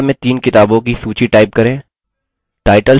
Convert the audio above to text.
आखिर में नियतकार्य